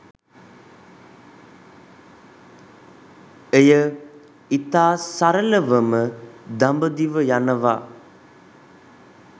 එය ඉතා සරලවම දඹදිව යනවා